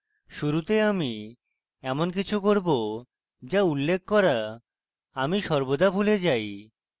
শুরুতে আমি in কিছু করব যার উল্লেখ করা আমি সর্বদা ভুলে যাই